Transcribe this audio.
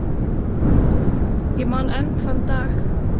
Ég man enn þann dag.